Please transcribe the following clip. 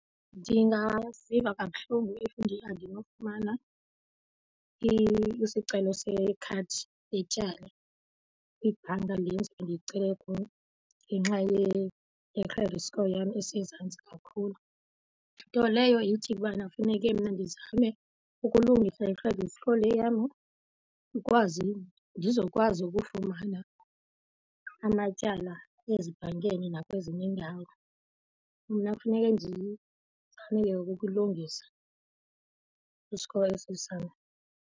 Ndingaziva kabuhlungu if andinofumana isicelo sekhadi letyala ibhanka le ndizobe ndilicele kuyo ngenxa ye-credit score yam esezantsi kakhulu. Nto leyo ithi ubana kufuneke mna ndizame ukulungisa i-credit score le yam ndikwazi ndizokwazi ukufumana amatyala ezibhankeni nakwezinye iindawo. Mna kufuneke ndizame ke ngoku ukukulungisa i-score esi sam.